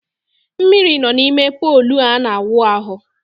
Mmiri nọ n’ime pọlụ a na-awụ ahụ